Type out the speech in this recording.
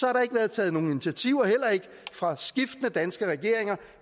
har der ikke været taget nogen initiativer heller ikke fra skiftende danske regeringer